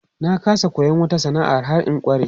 Na ƙasa koyon wata sana'a har in ƙware.